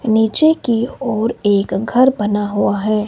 नीचे की ओर एक घर बना हुआ है।